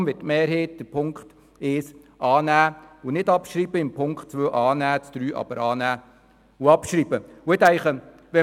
Deshalb wird die Mehrheit der EVPFraktion Ziffer 1 annehmen und nicht abschreiben, Ziffer 2 annehmen und Ziffer 3 annehmen und abschreiben.